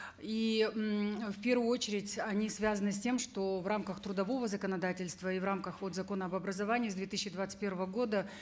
и в первую очередь они связаны с тем что в рамках трудового законодательства и в рамках вот закона об образовании с две тысячи двадцать первого года